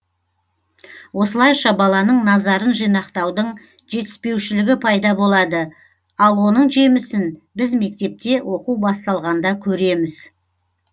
осылайша баланың назарын жинақтаудың жетіспеушілігі пайда болады ал оның жемісін біз мектепте оқу басталғанда көреміз